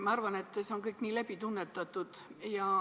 Ma arvan, et see kõik on hästi läbi tunnetatud.